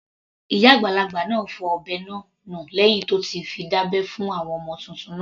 Ìyá àgbàlagbà náà fọ ọ̀bẹ náà nù lẹ́hìn tí ó ti fi dá abẹ́ fún ọmọ titun náà.